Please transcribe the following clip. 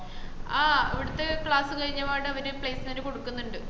ആഹ് ഇവിടുത്ത class കഴിഞ്ഞപാട് അവര് placement കൊടുക്കുന്നുണ്ട്